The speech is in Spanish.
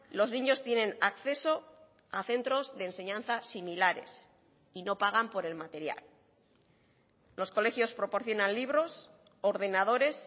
los niños tienen acceso a centros de enseñanza similares y no pagan por el material los colegios proporcionan libros ordenadores